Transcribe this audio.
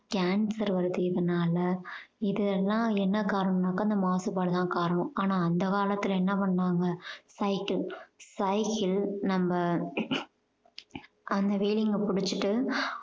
cancer வருது இதனால இதெல்லாம் என்ன காரணம்னாக்க இந்த மாசுபாடு தான் காரணம் ஆனா அந்த காலத்துல என்ன பண்ணாங்க cycle cycle நம்ம அந்த wheeling அஹ் புடிச்சுகிட்டு